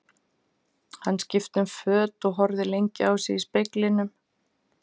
Hann skipti um föt og horfði lengi á sig í speglinum.